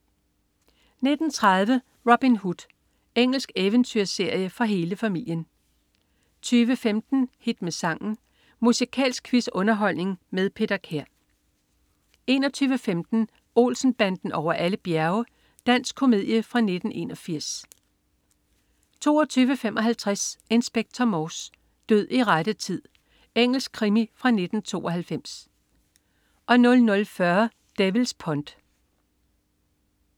19.30 Robin Hood. Engelsk eventyrserie for hele familien 20.15 Hit med sangen. Musikalsk quiz-underholdning med Peter Kær 21.15 Olsen-banden over alle bjerge. Dansk komedie fra 1981 22.55 Inspector Morse: Død i rette tid. Engelsk krimi fra 1992 00.40 Devil's Pond